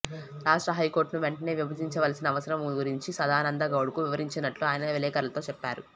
రాష్ట్ర హైకోర్టును వెంటనే విభజించవలసిన అవసరం గురించి సదానందగౌడకు వివరించినట్లు ఆయన విలేఖరులతో చెప్పారు